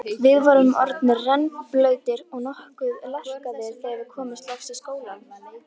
Við vorum orðnir rennblautir og nokkuð lerkaðir þegar við komumst loks í skólann.